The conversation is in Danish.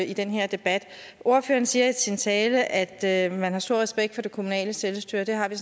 i den her debat ordføreren siger i sin tale at at man har stor respekt for det kommunale selvstyre og det har vi